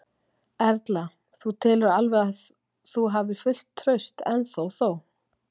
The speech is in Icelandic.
Erla: Þú telur alveg að þú hafir fullt traust ennþá þó?